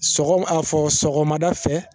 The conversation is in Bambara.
Sɔgɔ a fɔ sɔgɔmada fɛ